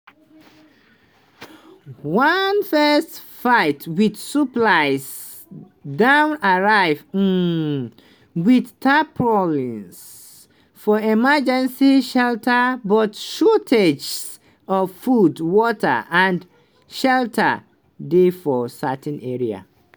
one first fight wit supplies don arrive um wit tarpaulins for emergency shelters but shortages of food water and shelter dey for certain areas.